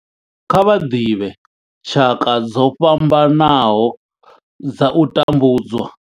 Kha vha ḓivhe tshaka dzo fhambanaho dza u tambudzwa.